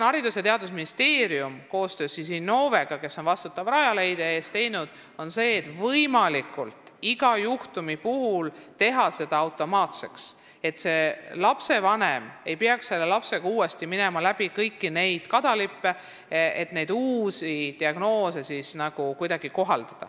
Haridus- ja Teadusministeerium on koostöös Innovega, kes vastutab Rajaleidja eest, teinud selle iga juhtumi puhul võimalikult automaatseks, et lapsevanem ei peaks käima oma lapsega uuesti läbi kõiki kadalippe ega kohaldama uusi diagnoose vms.